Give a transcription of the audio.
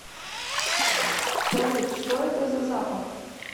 салют что это за запах